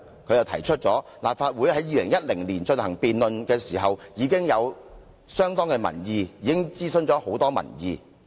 他提出立法會在2010年進行辯論時，已經有相當民意，諮詢很多市民。